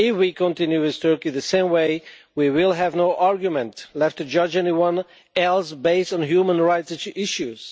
If we continue with Turkey the same way, we will have no argument left to judge anyone else based on human rights issues.